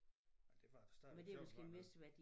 Men derfor er det stadigvæk sjovt en gang imellem